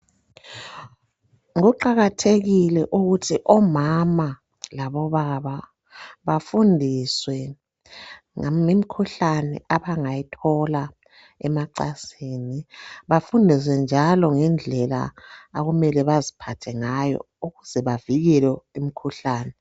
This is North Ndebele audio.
Kuqakathekile ukuthi omama labo baba bafundiswe ngemikhuhlane abangayithola emacansini bafundiswe njalo ngendlela okumele baziphathe ngayo ukuze bavikele imikhuhlane.